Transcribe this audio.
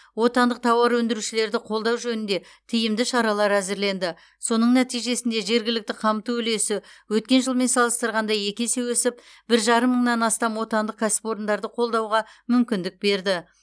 отандық тауар өндірушілерді қолдау жөнінде тиімді шаралар әзірленді соның нәтижесінде жергілікті қамту үлесі өткен жылмен салыстырғанда екі есе өсіп бір жарым мыңнан астам отандық кәсіпорындарды қолдауға мүмкіндік берді